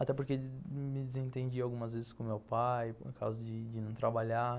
Até porque me desentendi algumas vezes com meu pai por causa de de não trabalhar.